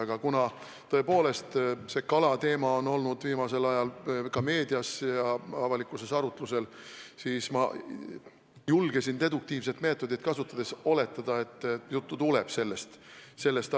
Aga kuna tõepoolest see kalateema on viimasel ajal meedias ja üldse avalikkuses arutlusel olnud, siis ma julgesin deduktiivset meetodit kasutades oletada, et juttu tuleb just sellest.